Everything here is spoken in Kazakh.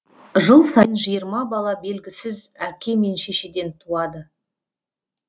жыл сайын жиырма бала белгісіз әке мен шешеден туады